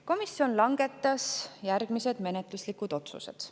Komisjon langetas järgmised menetluslikud otsused.